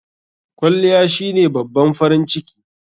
Kwalliya shine babban farin ciki..